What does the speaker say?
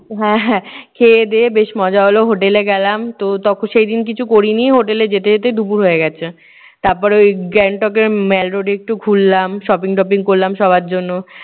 হ্যাঁ হ্যাঁ খেয়েদেয়ে বেশ মজা হলো। হোটেলে গেলাম। তো তখ সেই দিন কিছু করিনি হোটেলে যেতে যেতে দুপুর হয়ে গেছে। তারপরে ওই গ্যাংটকের মেল্ road এ একটু ঘুরলাম shopping টপিং করলাম সবার জন্য।